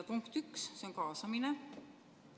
Punkt 1 on kaasamine.